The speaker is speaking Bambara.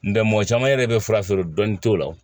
N tɛ mɔgɔ caman yɛrɛ bɛ fura feere dɔnni t'o la